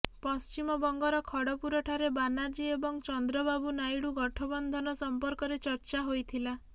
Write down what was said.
ପଶ୍ଚିମବଙ୍ଗର ଖଡପୁରଠାରେ ବାନାର୍ଜୀ ଏବଂ ଚନ୍ଦ୍ରବାବୁ ନାଇଡୁ ଗଠବନ୍ଧନ ସମ୍ପର୍କରେ ଚର୍ଚ୍ଚା ହୋଇଥିଲା